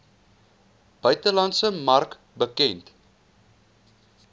buitelandse mark bekend